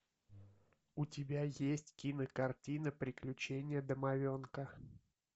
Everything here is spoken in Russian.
у тебя есть кинокартина приключения домовенка